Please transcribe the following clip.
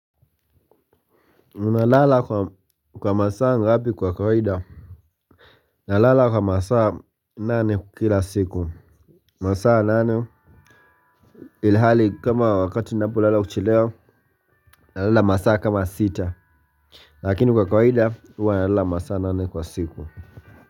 Nalala kwa masaa ngapi kwa kawaida. Nalala kwa masaa nane kila siku. Masaa nane. Ilhali kama wakati ninapo lala kuchelewa nalala masaa kama sita lakini kwa kawaida huwa nalala masaa nane kwa siku.